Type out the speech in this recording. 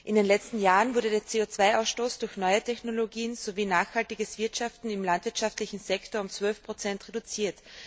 In den letzten Jahren wurde der CO 2 Ausstoß durch neue Technologien sowie nachhaltiges Wirtschaften im landwirtschaftlichen Sektor um 12 reduziert.